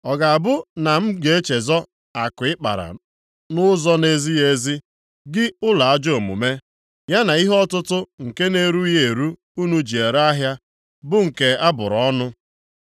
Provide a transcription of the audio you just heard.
Ọ ga-abụ na m ga-echezọ akụ ị kpara nʼụzọ na-ezighị ezi, gị ụlọ ajọ omume, ya na ihe ọtụtụ nke na-erughị eru unu ji ere ahịa, bụ nke abụrụ ọnụ?